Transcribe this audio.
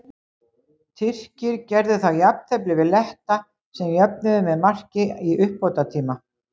Tyrkir gerðu þá jafntefli við Letta sem jöfnuðu með marki í uppbótartíma.